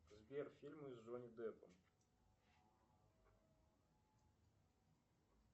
сбер фильмы с джонни деппом